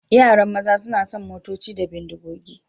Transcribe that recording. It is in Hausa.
Yaran maza suna son motoci da bindigogi.